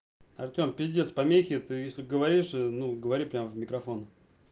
артём пиздец помехи то если говоришь ну говори прямо в микрофон